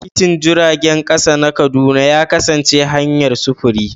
Titin jirgin ƙasa na Kaduna ya kasance hanyar sufuri.